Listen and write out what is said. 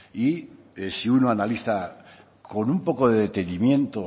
y si uno analiza con un poco de detenimiento